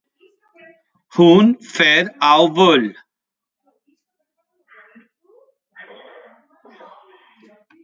Hún fer á böll!